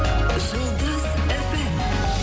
жұлдыз фм